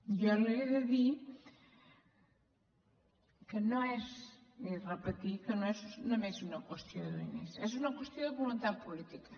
jo li he de dir i repetir que no és només una qüestió de diners és una qüestió de voluntat política